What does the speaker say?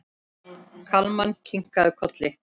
Kalman kinkaði kolli.